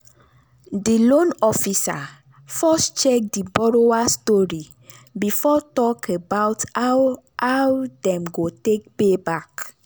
di loan officer first check di borrower story before talk about how how dem go take pay back.